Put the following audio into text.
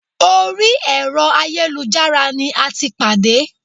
Orí ẹ̀rọ ayélujára ní a tí pàdé.